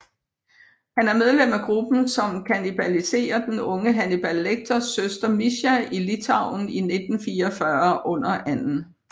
Han er medlem af gruppen som kannibaliserer den unge Hannibal Lecters søster Mischa i Litauen i 1944 under 2